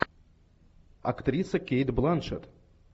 актриса кейт бланшетт